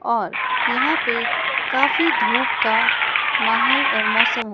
और यहां पे काफी धूप का माहौल और मौसम --